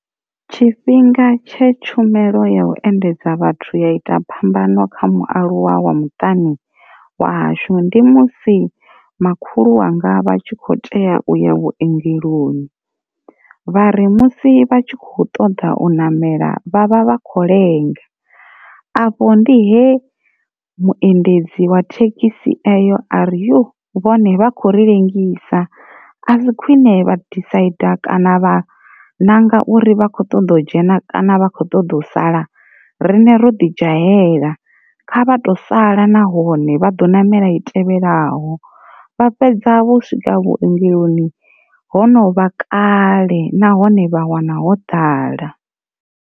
Tshifhinga tshe tshumelo ya u endedza vhathu ya ita phambano kha mualuwa wa muṱani wa hashu ndi musi makhulu wanga vha tshi kho tea uya vhuongeloni, vhari musi vha tshi kho ṱoḓa u namela vhavha vha kho lenga afho ndi he vhuendedzi wa thekhisi eyo ari yo vhone vha kho ri ḽengisa a si khwine vha disaiḓa kana vha nanga uri vha kho ṱoḓa u dzhena kana vha kho ṱoḓa u sala, rine ro ḓi dzhaivela kha vha to sala nahone vha do ṋamela i tevhelaho. vha fhedza vho swika vhuongeloni hono vha kale nahone vha wana ho ḓala.